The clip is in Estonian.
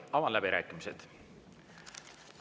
Avan läbirääkimised.